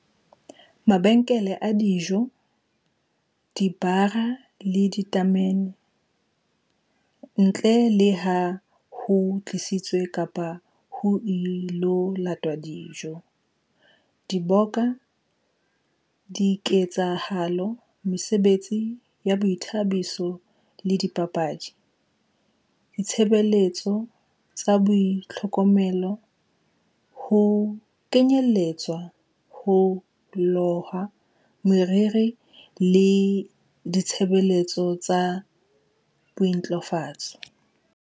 Mabenkele a dijo, dibara le ditamene, ntle le ha ho tlisitswe kapa ho ilo latwa dijo. Diboka, diketsahalo, mesebetsi ya boithabiso le dipapadi. Ditshebeletso tsa boitlhokomelo, ho kenyeletswa ho loha moriri le ditshebeletso tsa bointlafatso.